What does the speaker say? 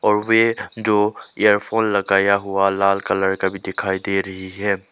वे जो इयरफोन लगाया हुआ लाल कलर का भी दिखाई दे रही है।